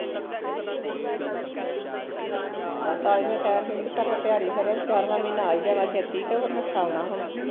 ਤਾਂ ਹੀਂ ਮੈਂ ਕਹਿਣ ਡੀ ਕਿ ਕਰੋ ਟੀਆਰੀ ਫੇਰ ਗਿਆਰਵਾ ਮਹੀਨਾ ਆ ਹੀਂ ਜਾਣਾ ਛੇਤੀ ਤੇ ਓਹ ਨੱਠਾ ਹੁਣ